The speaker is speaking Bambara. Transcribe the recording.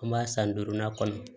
An b'a san duurunan kɔnɔ